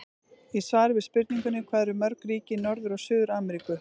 Í svari við spurningunni Hvað eru mörg ríki í Norður- og Suður-Ameríku?